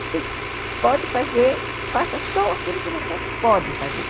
Você pode fazer, faça só aquilo que você pode fazer.